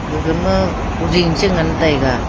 gaga ma kuding che ngan taiga.